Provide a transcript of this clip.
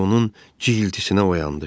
Kiber onun cığıltısına oyandı.